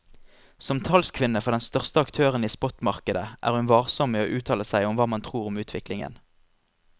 Som talskvinne for den største aktøren i spotmarkedet er hun varsom med å uttale seg om hva man tror om utviklingen.